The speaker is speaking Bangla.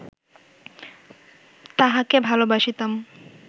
তাহাকে ভালবাসিতাম